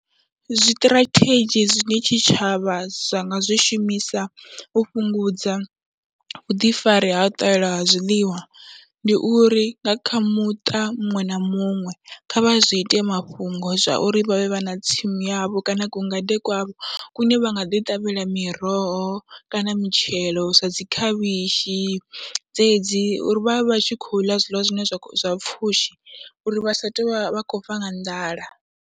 Zwiṱirathedzhi zwine tshitshavha zwa nga zwi shumisa u fhungudza vhuḓifari ha u ṱahela ha zwiḽiwa, ndi uri nga kha muṱa muṅwe na muṅwe kha vha zwi ite mafhungo zwa uri vha vhe vha na tsimu yavho kana kungade kwavho kune vha nga ḓi ṱavhela miroho kana mitshelo, sa dzi khavhishi dzedzi uri vha vhe vha tshi khou ḽa zwiḽiwa zwine zwa pfhushi uri vha sa tou vha khou fa nga nḓala.